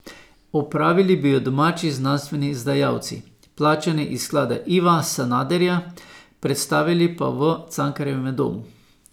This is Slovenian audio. Opravili bi jo domači znanstveni izdajalci, plačani iz sklada Iva Sanaderja, predstavili pa v Cankarjevem domu.